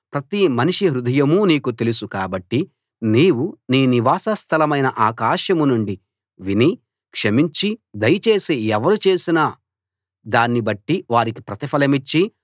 ప్రతి మనిషి హృదయమూ నీకు తెలుసు కాబట్టి నీవు నీ నివాస స్థలమైన ఆకాశం నుండి విని క్షమించి దయచేసి ఎవరు చేసిన దాన్ని బట్టి వారికి ప్రతిఫలమిచ్చి